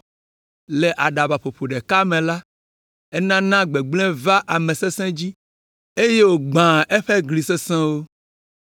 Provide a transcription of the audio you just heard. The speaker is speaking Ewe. Le aɖabaƒoƒo ɖeka me la, enana gbegblẽ vaa ame sesẽ dzi, eye wògbãa eƒe gli sesẽwo.